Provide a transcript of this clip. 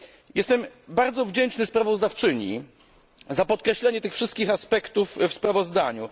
Jestem bardzo wdzięczny sprawozdawczyni za podkreślenie tych wszystkich aspektów w sprawozdaniu.